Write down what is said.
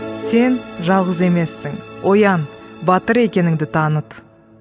сен жалғыз емессің оян батыр екеніңді таныт